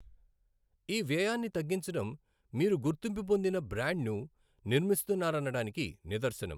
ఈ వ్యయాన్ని తగ్గించడం మీరు గుర్తింపు పొందిన బ్రాండ్ను నిర్మిస్తున్నారనడానికి నిదర్శనం.